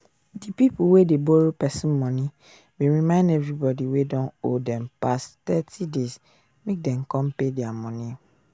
di pipu wey dey borrow pesin money bin remind everybody wey don owe dem pass thirty days make dem come pay dia money